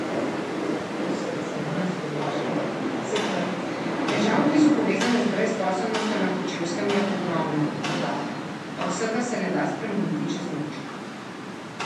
Težav, ki so povezane z brezposelnostjo na Kočevskem, je ogromno, dodaja: "A vsega se ne da spremeniti čez noč.